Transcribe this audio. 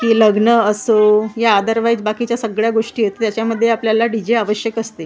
की लग्न असो या ऑदरवाइज बाकीच्या सगळ्या गोष्टी आहेत ज्यांच्यामध्ये आपल्याला डी जे आवश्यक असते.